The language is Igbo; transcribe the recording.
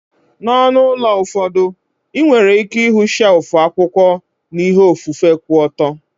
N'onu ụlọ ụfọdụ, ị nwere ike ịhụ shelfu akwụkwọ na ihe ofufe ku oto.